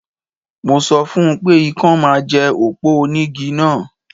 Mo sọ fún pé ikán máa jẹ òpó onígi náà